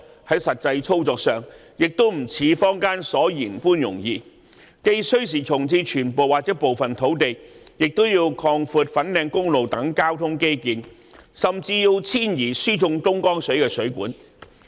在實際操作上亦不像坊間所言般容易，既需時重置全部或部分土地，也要擴闊粉錦公路等交通基建，甚至要遷移輸送東江水的水管。